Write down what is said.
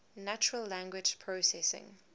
natural language processing